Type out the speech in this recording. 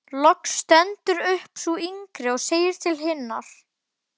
Loks stendur upp sú yngri og segir til hinnar